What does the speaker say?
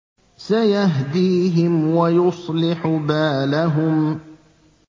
سَيَهْدِيهِمْ وَيُصْلِحُ بَالَهُمْ